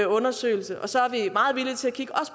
undersøgelse og så